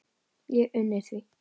Ég uni því.